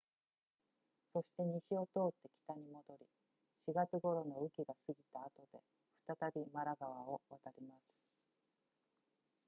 そして西を通って北に戻り4月頃の雨季が過ぎた後で再びマラ川を渡ります